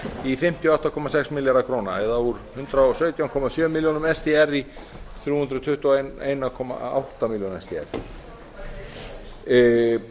í fimmtíu og átta komma sex milljarða króna eða úr hundrað og sautján komma sjö milljónir sdr í þrjú hundruð tuttugu og einn komma átta milljónir sdr með hækkuninni